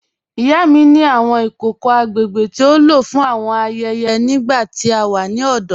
Ìyá mi ni awọn ikòkò agbègbè tí o ló fún awọn ayẹyẹ nígbà tí a wà ni ọdọ.